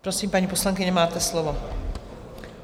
Prosím, paní poslankyně, máte slovo.